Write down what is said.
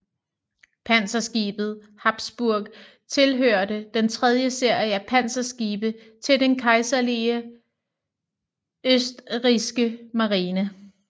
Panserskibet Habsburg tilhørte den tredje serie af panserskibe til den kejserlige østrigske marine